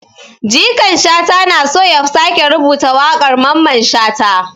Jikan Shata na so ya sake rubuta wakar Maman shata.